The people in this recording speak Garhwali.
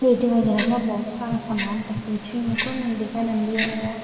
पेटी वगेरह कुछ भौत सारू समान रख्यु च योंकू वि दुकानम अर वा।